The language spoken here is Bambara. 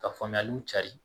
Ka faamuyaliw cari